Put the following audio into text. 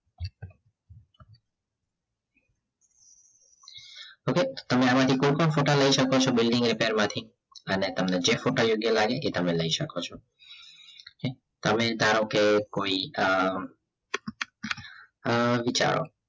okay તમે આમાંથી કોઈપણ ફોટા લઈ શકો છો building a player માથી અને તમને જે ફોટા યોગ્ય લાગે એ ફોટા લઈ શકો છો તમે ધારો કે કોઈ અ અ વિચારો